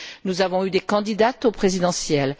Nous avons eu des candidates aux présidentielles.